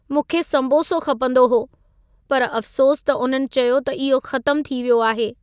मूंखे संबोसो खपंदो हो पर अफसोस त उन्हनि चयो त इहो ख़तम थी वियो आहे।